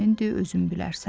özün bilərsən.